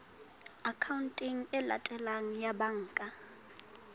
akhaonteng e latelang ya banka